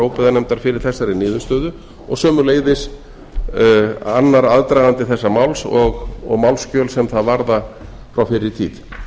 óbyggðanefndar fyrir þessari niðurstöðu og sömuleiðis annar aðdragandi þessa máls og málsskjöl sem það varða frá fyrri tíð þar